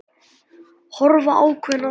Horfa ákveðin á þær.